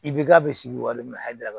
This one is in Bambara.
I bi ka bɛ sigi walima hakɛ